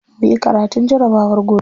Muyi karatun jarabawar gobe.